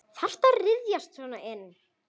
Þarftu að ryðjast svona inn?